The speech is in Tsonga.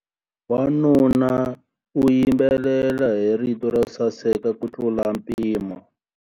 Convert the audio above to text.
Wanuna u yimbelela hi rito ro saseka kutlula mpimo.